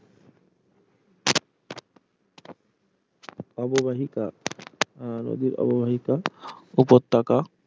অববাহিকা আহ নদীর অববাহিকা উপত্যকা